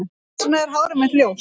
Hvers vegna er hárið mitt ljóst?